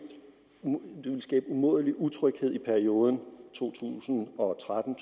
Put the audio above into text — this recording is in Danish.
det ville skabe umådelig utryghed i perioden to tusind og tretten